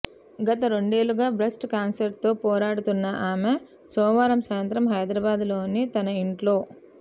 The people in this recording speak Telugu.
గత రెండేళ్లుగా బ్రెస్ట్ క్యాన్సర్తో పోరాడుతున్న ఆమె సోమవారం సాయంత్రం హైదరాబాద్లోని తన ఇంట్లో